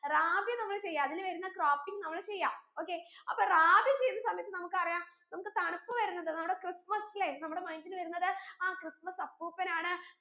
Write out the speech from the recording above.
റാബി നമ്മൾ ചെയ്യാ അതിൽ വരുന്ന cropping നമ്മൾ ചെയ്യാ okay അപ്പൊ റാബി ചെയ്യുന്ന സമയത്ത് നമുക്കറിയാം നമുക്ക് തണുപ്പ് വരുന്നത് നമ്മുടെ ക്രിസ്മസ് അല്ലെ നമ്മുടെ mind ൽ വരുന്നത് ആ ക്രിസ്മസ് അപ്പൂപ്പൻ ആണ്